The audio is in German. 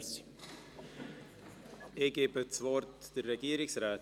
Es gibt keine weiteren Einzelsprecher.